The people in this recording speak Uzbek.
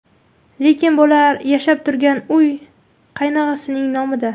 Lekin bular yashab turgan uy qaynog‘asining nomida.